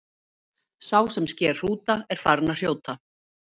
sá sem sker hrúta er farinn að hrjóta